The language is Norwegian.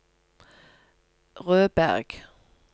Rødberg